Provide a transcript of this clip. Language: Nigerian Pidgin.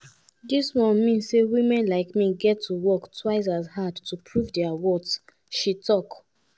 dis one mean say women like me get to work twice as hard to prove dia worth" she tok.